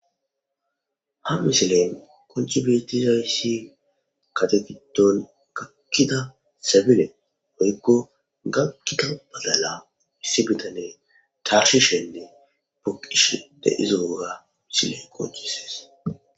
Ha misilen kocchi betizayssi kategidon gakkida sebile hoykko gakkida balala missibitane carshi shendi buqish de izogoga misile qoccises.